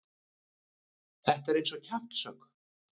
Þetta er eins og kjaftshögg.